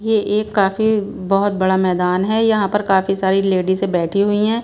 ये एक काफी बहुत बड़ा मैदान है यहाँ पर काफी सारी लेडीजें बैठी हुई हैं।